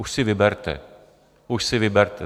Už si vyberte, už si vyberte.